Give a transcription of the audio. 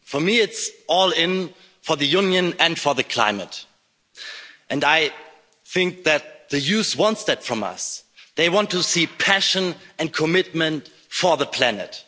For me it's all in for the Union and for the climate, and I think that the youth want that from us, they want to see passion and commitment for the planet.